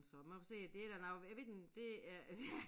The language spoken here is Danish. Men så men jeg får se det da noget jeg ved ikke om det er ja